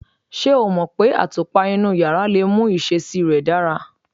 Ṣé o mọ̀ pé àtùpà inú yàrá lè mú ìṣesí rẹ̀ dára?